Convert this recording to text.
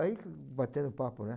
Aí batemos papo, né?